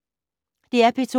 DR P2